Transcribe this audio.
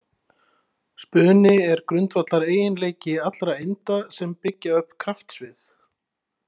Spuni er grundvallareiginleiki allra einda sem byggja upp kraftsvið.